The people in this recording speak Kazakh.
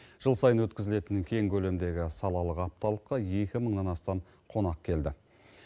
жыл сайын өткізілетін кең көлемдегі салалық апталыққа екі мыңнан астам қонақ келді